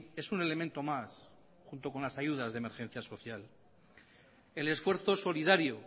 es un elemento más junto con las ayudas de emergencia social el esfuerzo solidario